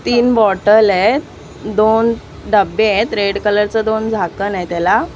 तीन बॉटल आहेत दोन डबे आहेत रेड कलर च दोन झाकण आहे त्याला.